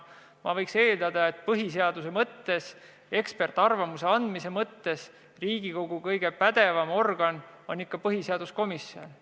Ma eeldan, et põhiseadusega seotud eksperdiarvamuse andmise mõttes on Riigikogus kõige pädevam organ just põhiseaduskomisjon.